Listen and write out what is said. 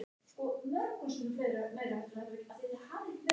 Og ekki ljóskuna heldur.